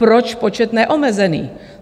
Proč počet neomezený?